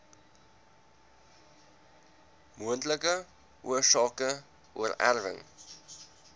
moontlike oorsake oorerwing